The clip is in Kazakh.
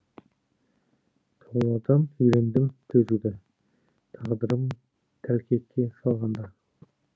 таулардан үйрендім төзуді тағдырым тәлкекке салғанда